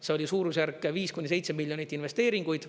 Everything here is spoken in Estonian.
See oli suurusjärk viis kuni seitse miljonit investeeringuid.